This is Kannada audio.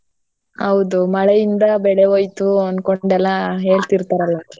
ಹೌದು ಮಳೆಯಿಂದ ಬೆಳೆ ಹೋಯ್ತು ಆನ್ಕೊಂಡೆಲ್ಲ ಹೇಳ್ತಿರ್ತಾರಲ್ಲ.